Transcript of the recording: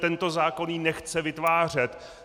Tento zákon ji nechce vytvářet.